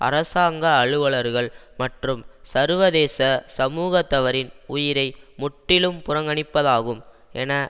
அரசாங்க அலுவலர்கள் மற்றும் சர்வதேச சமூகத்தவரின் உயிரை முற்றிலும் புறங்கணிப்பதாகும் என